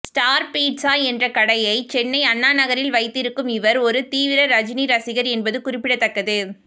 star pizza என்ற கடையை சென்னை அண்ணாநகரில் வைத்திருக்கும் இவர் ஒரு தீவிர ரஜினி ரசிகர் என்பது குறிப்பிடத்தக்கது